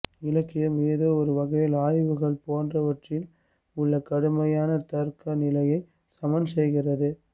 இலக்கியம் ஏதோ ஒருவகையில் ஆய்வுகள் போன்றவற்றில் உள்ள கடுமையான தர்க்கநிலையை சமன்செய்கிறது